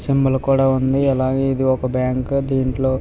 symbol కూడా ఉంది అలాగే ఇది ఒక బ్యాంకు దీంట్లో --